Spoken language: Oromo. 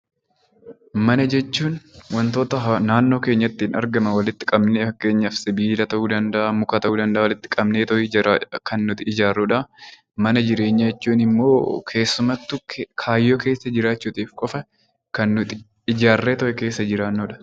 Mana jechuun wantoota naannoo keenyatti argaman walitti qabnee fakkeenyaaf sibiila ta'uu danda'a muka ta'uu danda'a kan nuti ijaarrudha. Mana jireenyaa jechuun keessamattuu kaayyoo keessa jiraachuuf qofaa kan nuti ijaarree keessa jiraannudha.